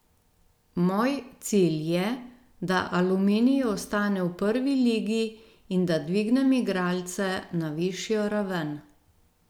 Moj cilj je, da Aluminij ostane v prvi ligi in da dvignem igralce na višjo raven.